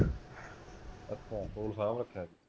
ਅੱਛਾ ਫੋਨ ਸਾਂਭ ਰਖਿਆ ਰਖਿਆ